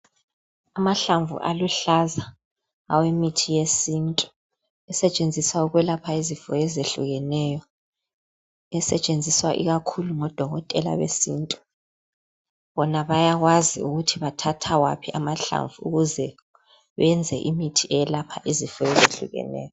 Amahlamvu aluhlaza awemithi yesintu esetshenziswa ukwelapha izifo ezehlukeneyo. Esetshenziswa okakhulu ngodokotela besintu bona bayakwazi ukuthi bathatha waphi amahlamvu ukuze benze imithi eyelapha izifo ezehlukeneyo.